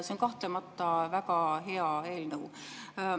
See on kahtlemata väga hea eelnõu.